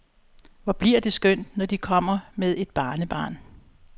Hvor bliver det skønt, når de kommer med et barnebarn.